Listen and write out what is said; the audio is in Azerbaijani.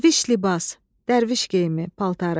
Dərviş libas, dərviş geyimi, paltarı.